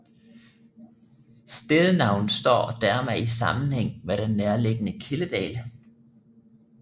Stednavnet står dermed i sammenhang med den nærliggende Kildedal